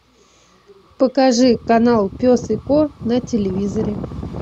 покажи канал пес и ко на телевизоре